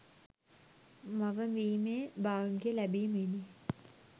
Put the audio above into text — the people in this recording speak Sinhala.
මව වීමේ භාග්‍යය ලැබීමෙනි.